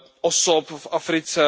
osob v Africe.